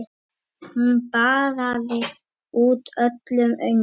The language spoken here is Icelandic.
Hún baðaði út öllum öngum.